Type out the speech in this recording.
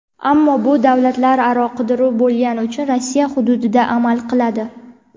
Ammo bu davlatlararo qidiruv bo‘lgani uchun Rossiya hududida amal qiladi.